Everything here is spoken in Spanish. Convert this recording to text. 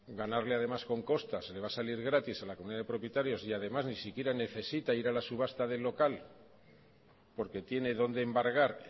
ganarle además con costas le va a salir gratis a la comunidad de propietarios y además ni siquiera necesita ir a la subasta del local porque tiene donde embargar